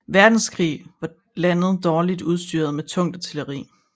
Verdenskrig var landet dårligt udstyret med tungt artilleri